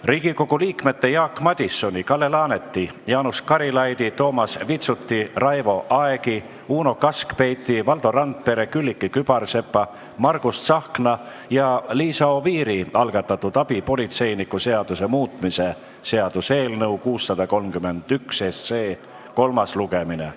Riigikogu liikmete Jaak Madisoni, Kalle Laaneti, Jaanus Karilaidi, Toomas Vitsuti, Raivo Aegi, Uno Kaskpeiti, Valdo Randpere, Külliki Kübarsepa, Margus Tsahkna ja Liisa Oviiri algatatud abipolitseiniku seaduse muutmise seaduse eelnõu 631 kolmas lugemine.